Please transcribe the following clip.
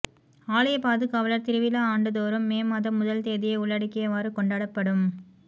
ஆலய பாதுகாவலர் திருவிழா ஆண்டு தோறும் மே மாதம் முதல் தேதியை உள்ளடக்கியவாறு கொண்டாடப்படும்